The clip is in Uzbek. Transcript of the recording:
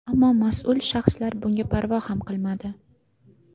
Ammo mas’ul shaxslar bunga parvo ham qilmadi.